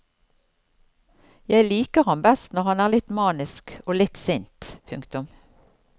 Jeg liker ham best når han er litt manisk og litt sint. punktum